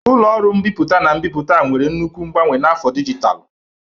Ụlọ ọrụ mbipụta na mbipụta nwere nnukwu mgbanwe na afọ dijitalụ.